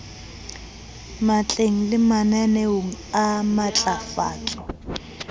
matleng le mananeong a matlafatso